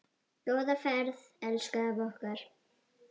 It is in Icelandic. Góða ferð elsku afi okkar.